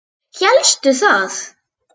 Hélstu það?